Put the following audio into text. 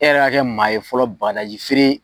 E yɛrɛ ka kɛ maa ye fɔlɔ bagaji feere